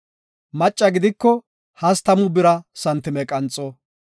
Macca gidiko hastamu bira santime qanxo.